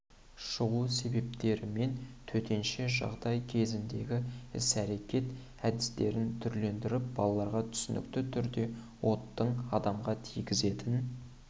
шығу себептері мен төтенше жағдай кезіндегі іс-әрекет әдістерін түсіндіріп балаларға түсінікті түрде оттың адамға тигізетін